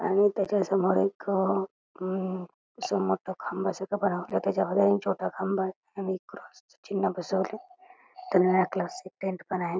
आणि तेच्या समोर एक समोर तो खांबासारख बनवले त्याच्यामध्ये एक छोटा खांब आहे आणि क्रॉस च चिन्ह बसवलंय इथं निळ्या कलर चा एक टेंट पण आहे.